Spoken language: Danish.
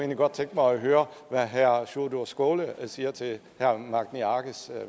godt tænke mig at høre hvad herre sjúrður skaale siger til herre magni arges